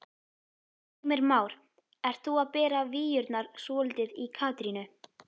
Heimir Már: Ert þú að bera víurnar svolítið í Katrínu?